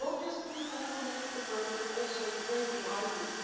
Not just the people who committed the murder, but also the brain behind it.